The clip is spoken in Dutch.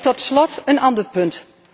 Tot slot een ander punt.